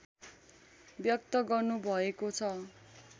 व्यक्त गर्नुभएको छ